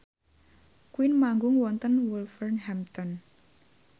Queen manggung wonten Wolverhampton